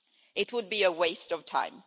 It would be a waste of time.